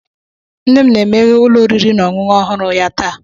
Nne m na-emeghe ụlọ oriri na ọṅụṅụ ọhụrụ ya taa.